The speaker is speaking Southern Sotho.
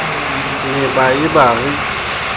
ne ba ye ba re